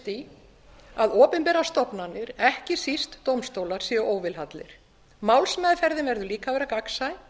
því að opinberar stofnanir ekki síst dómstólar séu óvilhallar málsmeðferðin verður líka að vera gagnsæ